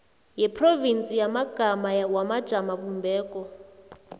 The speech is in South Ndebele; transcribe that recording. yeprovinsi yamagama wamajamobumbeko